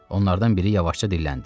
Onlardan biri yavaşca dilləndi.